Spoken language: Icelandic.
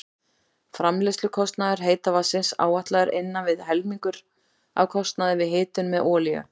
Framleiðslukostnaður heita vatnsins áætlaður innan við helmingur af kostnaði við hitun með olíu.